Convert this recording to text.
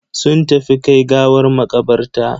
Sun tafi kai gawar makabarta.